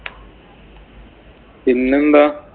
പിന്നെന്താ?